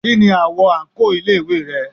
Kí ni àwo àǹkóò ilé ìwé rẹ?